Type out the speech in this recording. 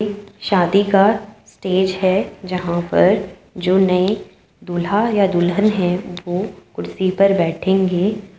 शादी का स्टेज है जहाँ पर जो नए दूल्हा या दुल्हन है वो कुर्सी पर बैठेंगे।